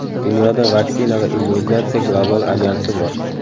Dunyoda Vaksina va immunizatsiya global alyansi bor.